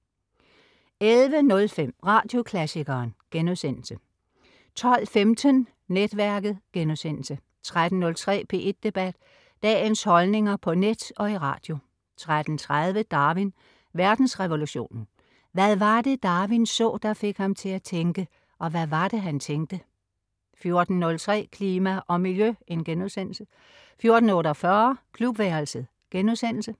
11.05 Radioklassikeren* 12.15 Netværket* 13.03 P1 Debat. Dagens holdninger på net og i radio 13.30 Darwin: Verdensrevolutionen, Hvad var det, Darwin så, der fik ham til at tænke. Og hvad var det, han tænkte? 14.03 Klima og miljø* 14.48 Klubværelset*